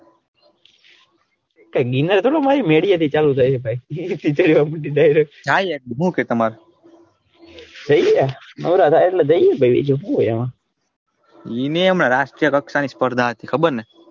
મેંદી હાથે ચાલુ થાય ભાઈ ના યાર હું કે તામર નોરા ઈ નઈ હમણાં રાષ્ટ્રીય રકસા ની સ્પર્ધા હતી ખબર ને?